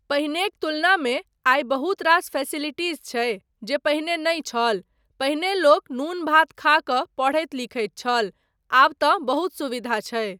पहिनेक तुलनामे आइ बहुत रास फेसिलिटीज़ छै जे पहिने नहि छल, पहिने लोक नून भात खा कऽ पढ़ैत लिखैत छल, आब तँ बहुत सुविधा छै।